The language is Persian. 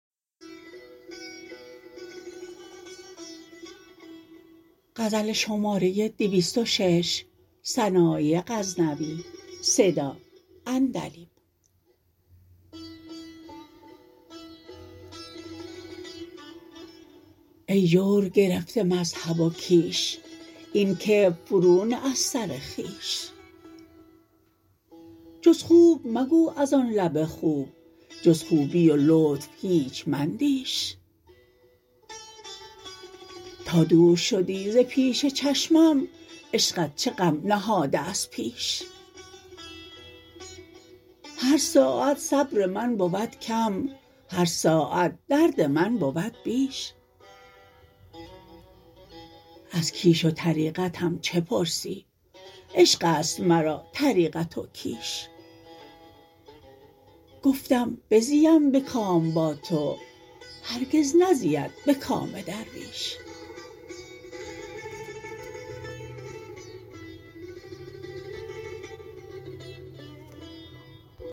ای جور گرفته مذهب و کیش این کبر فرو نه از سر خویش جز خوب مگو از آن لب خوب جز خوبی و لطف هیچ مندیش تا دور شدی ز پیش چشمم عشقت چه غم نهاده از پیش هر ساعت صبر من بود کم هر ساعت درد من بود بیش از کیش و طریقتم چه پرسی عشقست مرا طریقت و کیش گفتم بزیم به کام با تو هرگز نزید به کام درویش